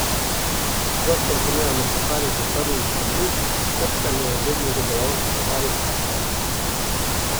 Gostom ponujamo safari z motornimi sanmi, krpljanje, ledni ribolov, safari s haskiji.